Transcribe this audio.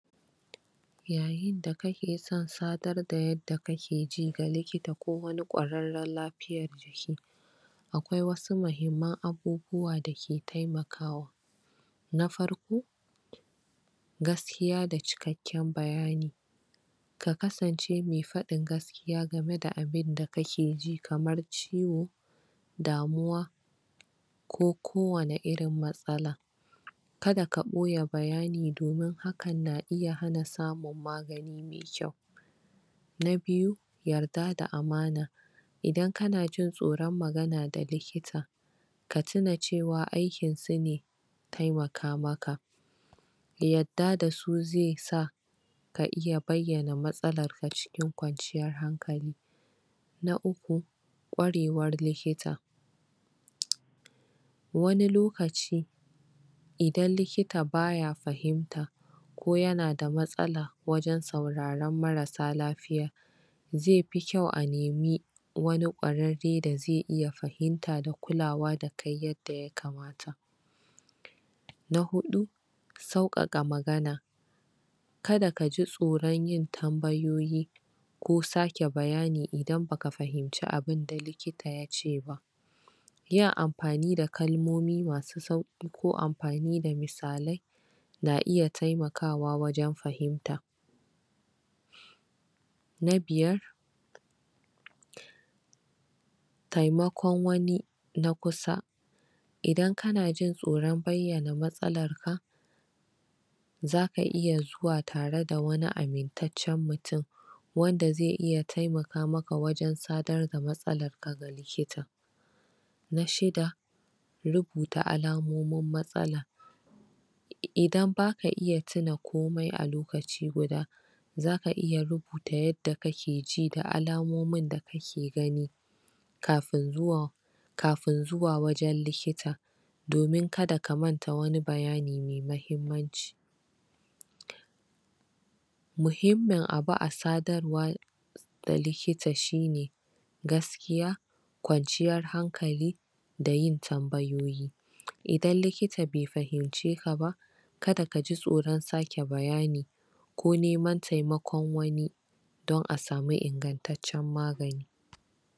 yayin da kake son sadar da yadda kake ji ga likita ko wani ƙwararran la fiyar jiki akwai wasu muhimman abubuwa dake temakawa nafarko gaskiya da cikekka bayani kakasance me faɗin gaskiya gameda da abin da kakeji kamar ciwo da muwa ko kowane irin matsala kada ka boye bayani domin hakan na iya han samu magani me kayu na biyu yarda da amana idan kanaji tsoron magana da likita katina cewa aikin su ne temaka maka yadda dasu zesa ka iya baiyana matsalarka acikin ƙwanciyan hankali na uku ƙorewan likita wani lokaci idan likita baya fahimta ko yanada matsala wajan sauraran marasa lafiya zefi kyau a nemi wani ɗ ƙwararrare da ze iya fahimta da kulawa dakai yanda ya kamata na huɗu sau ƙaƙa magana kada kaji tsoron wajan yin tambayoyi kosake bayani idan baka fahimce abinda likita yaceba yin amfani da kalmomi masu sauki ko amfani da misalai na iya temakwa wajan fahimta na biyar temakon wani na kusa idan kanajin tsoran baiyana matsalan ka zaka iya zuwa tare da wani amin taccan mutun wanda ze iya temaka maka wajan sadar da matsalar ka likita na shidda rubuta alampmin matsala idan baka iya tina komai a lokaci guda zaka iya rubuta yadda kakeji da almomin da kake gani kafin zuwa kafin zuwa wajan likta domin kada ka manta wani bayani me mahimmanci mu himmin abu asa darwa da likita shine gaskiya kwanciyar hankali da yin tamba yoyi idan likita be fahimcekaba kada kaji tsoron sake bayani ko neman temakon wani don asami ingantaccan magani